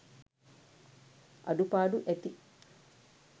අඩුපාඩු ඇති.